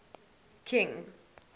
king